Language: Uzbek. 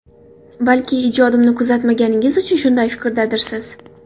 Balki ijodimni kuzatmaganingiz uchun shunday fikrdadirsiz?!